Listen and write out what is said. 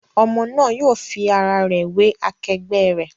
Ọmọ náà yóò fi ara wé akẹgbẹ̀ rẹ̀.